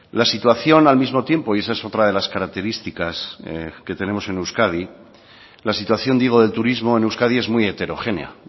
la situación al mismo tiempo y esa es otra de las características que tenemos en euskadi la situación digo del turismo en euskadi es muy heterogénea